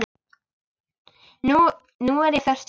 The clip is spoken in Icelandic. Nú er ég föst hér.